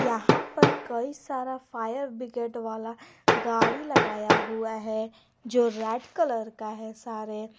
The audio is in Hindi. यहां पर कई सारा फायर ब्रिगेड वाला गाड़ी लगाया हुआ है जो रेड कलर का है सारे।